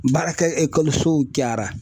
Baarakɛ ekɔlisow cayara